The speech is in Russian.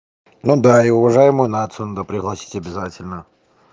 ну да и уважаемую нацию надо пригласить обязательно